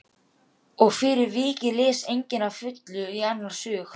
Og fyrir vikið les enginn að fullu í annars hug.